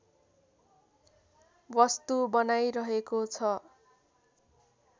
वस्तु बनाइरहेको छ